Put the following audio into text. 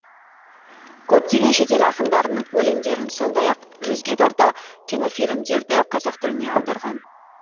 көптеген шетел ақындарының өлеңдерін сондай ақ жүзге тарта кинофильмдерді қазақ тіліне аударған